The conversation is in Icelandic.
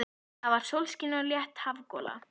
Það var sólskin og létt hafgola.